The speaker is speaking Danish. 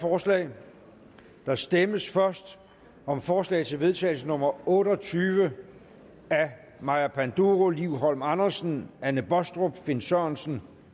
forslag der stemmes først om forslag til vedtagelse nummer otte og tyve af maja panduro liv holm andersen anne baastrup finn sørensen